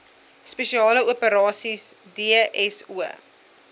spesiale operasies dso